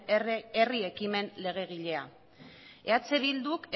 herri ekimen legegilea eh bilduk